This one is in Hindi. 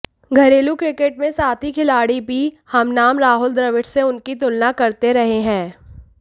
घरेलू क्रिकेट में साथी खिलाड़ी भी हमनाम राहुल द्रविड़ से उनकी तुलना करते रहे हैं